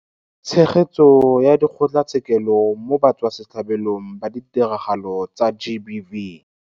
Tshegetso ya Dikgotlatshekelo mo Batswasetlhabelong ba Ditiragalo tsa GBV.